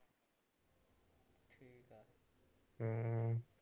ਹਮ